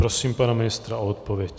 Prosím pana ministra o odpověď.